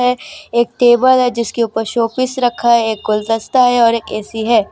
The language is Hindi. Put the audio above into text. एक टेबल है जिसके ऊपर शो पीस रखा है एक गुलदस्ता है और एक ए_सी है।